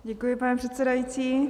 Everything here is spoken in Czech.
Děkuji, pane předsedající.